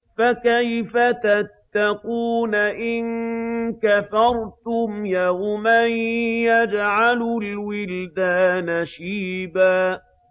فَكَيْفَ تَتَّقُونَ إِن كَفَرْتُمْ يَوْمًا يَجْعَلُ الْوِلْدَانَ شِيبًا